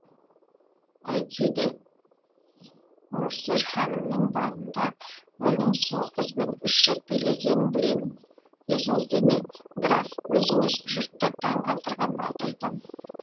әйтсе де де морсер ханымның балында мұның сол қызбен үш рет билегенін білемін есіңізде ме граф өзіңіз жұртты таң қалдырған балды айтамын